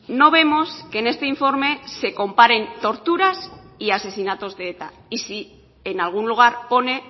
no vemos que en este informe se comparen torturas y asesinatos de eta y si en algún lugar pone